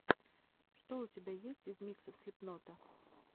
что у тебя есть из миксов слипнота